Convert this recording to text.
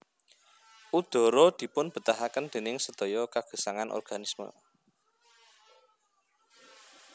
Udhara dipunbetahaken déning sedaya kagesangan organisme